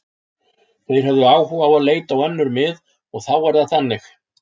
Þeir höfðu áhuga á að leita á önnur mið og þá er það þannig.